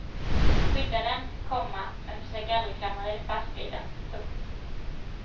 Skydda den, komma men försök aldrig klamra dig fast vid den. punkt